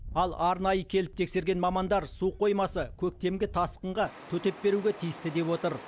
ал арнайы келіп тексерген мамандар су қоймасы көктемгі тасқынға төтеп беруге тиісті деп отыр